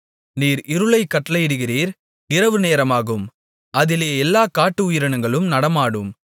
நீர் இருளைக் கட்டளையிடுகிறீர் இரவுநேரமாகும் அதிலே எல்லா காட்டு உயிர்களும் நடமாடும்